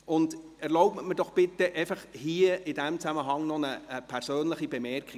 Erlauben Sie mir bitte in diesem Zusammenhang noch eine persönliche Bemerkung: